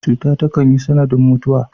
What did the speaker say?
Cuta takan yi sanadin mutuwa.